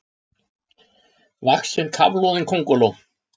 vaxin kafloðin könguló.